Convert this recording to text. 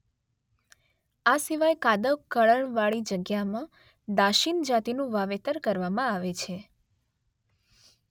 આ સિવાય કાદવ કળણવાળી જગ્યામાં દાશીન જાતિનું વાવેતર કરવામાં આવે છે